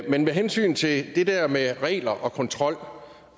men med hensyn til det der med regler og kontrol